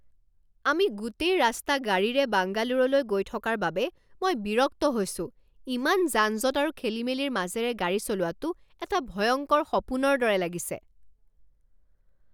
আমি গোটেই ৰাস্তা গাড়ীৰে বাংগালোৰলৈ গৈ থকাৰ বাবে মই বিৰক্ত হৈছোঁ। ইমান যান জঁট আৰু খেলিমেলিৰ মাজেৰে গাড়ী চলোৱাটো এটা ভয়ংকৰ সপোনৰ দৰে লাগিছে!